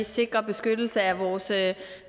sikrer beskyttelse af vores